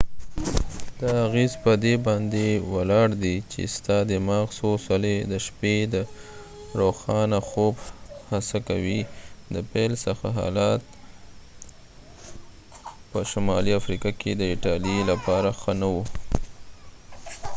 دا اغیز په دي باندي ولاړ دي چې ستا دماغ څو څلی د شپې د روښانه خوب هڅه کوي د پیل څخه حالات په شمالی افریقا کې د ایټالی لپاره ښه نه و